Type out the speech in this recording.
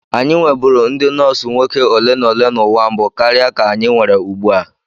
Anyị nweburu ndị nọọsụ nwoke ole na ole n'ụwa mbụ karịa ka anyị nwere ugbu a.